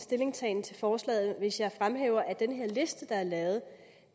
stillingtagen til forslaget hvis jeg fremhæver at i den liste der er lavet